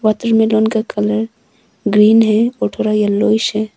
Watermelon का colour green है और थोड़ा येलोविश है।